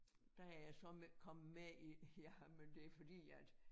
Der er jeg med så kommet med i jamen det fordi at